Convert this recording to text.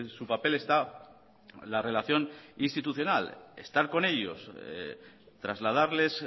su papel está la relación institucional estar con ellos trasladarles